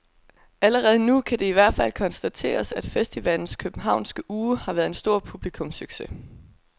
Allerede nu kan det i hvert fald konstateres, at festivalens københavnske uge har været en stor publikumssucces.